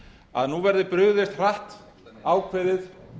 að nú verði brugðist hratt ákveðið